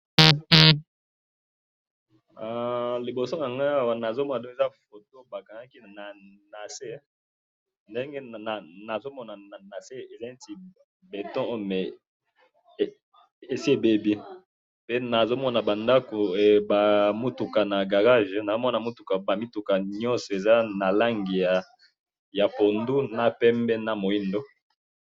Liboso na ngai awa ,nazo mona eza photo bakangaki na se, ndenge nazo mona na se eza neti béton mais esi ebebi pe nazo mona ba ndako, ba mutuka na garage ,nazo mona ba mituka nionso eza na langi ya pondu na pembe na muindo